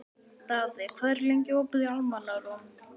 Daði, hvað er lengi opið í Almannaróm?